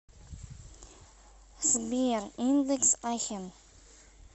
сбер индекс ахен